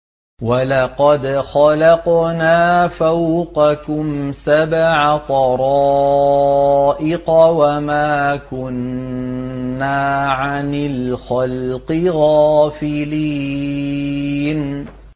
وَلَقَدْ خَلَقْنَا فَوْقَكُمْ سَبْعَ طَرَائِقَ وَمَا كُنَّا عَنِ الْخَلْقِ غَافِلِينَ